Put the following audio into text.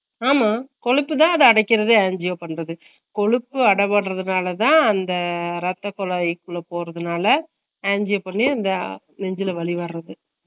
ஆம்மா குளிக்குது அத அடிக்குறது angio பண்றது, கொழுப்பு அடபட்ரனாளதா ரத்தத்துல இதுக்குள்ள போகுரதுனால angio பண்ணி அந்த நெஞ்சுல வலி வர்றது